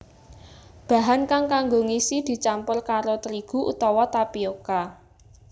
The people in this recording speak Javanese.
Bahan kang kanggo ngisi dicampur karo trigu utawa tapioka